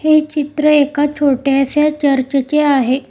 हे चित्र एका छोट्याशा चर्चेचे आहे.